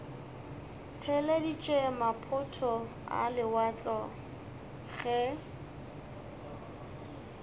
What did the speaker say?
theeleditše maphoto a lewatle ge